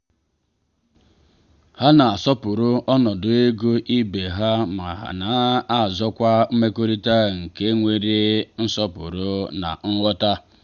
ha na asọpụrụ ọnọdụ ego ibe ha ma na azụkwa mmekorita nke nwere nsọpụrụ na nghọta.